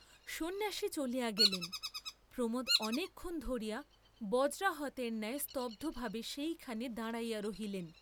সন্ন্যাসী চলিয়া গেলেন, প্রমোদ অনেকক্ষণ ধরিয়া বজ্রাহতের নায় স্তব্ধভাবে সেইখানে দাঁড়াইয়া রহিলেন।